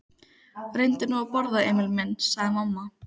Reyndu nú að borða, Emil minn, sagði mamma.